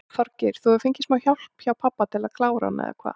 Þorgeir: Þú hefur fengið smá hjálp hjá pabba til að klára hann eða hvað?